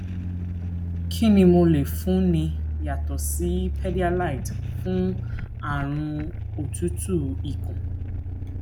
kí ni mo lè fúnni yàtọ sí pédíályte fún àrùn otutu ikun